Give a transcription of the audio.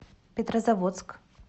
петрозаводск